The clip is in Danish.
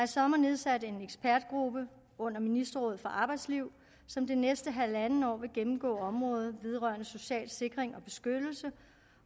sommer nedsat en ekspertgruppe under ministerrådet for arbejdsliv som det næste halvandet år vil gennemgå området vedrørende social sikring og beskyttelse